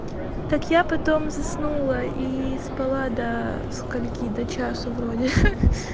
так я потом заснула и спала до скольки до часу вроде хе-хе